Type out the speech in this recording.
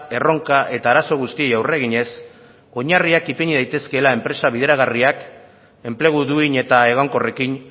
erronka eta arazo guztiei aurre eginez oinarriak ipini daitezkeela enpresa bideragarriak enplegu duin eta egonkorrekin